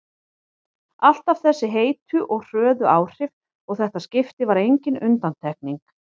Alltaf þessi heitu og hröðu áhrif og þetta skipti var engin undantekning.